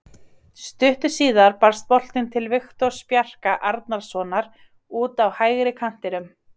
Stuttu síðar barst boltinn til Viktors Bjarka Arnarsonar út á hægri kantinum.